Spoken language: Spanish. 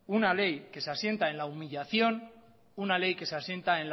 una ley que se asienta en la humillación una ley que se asienta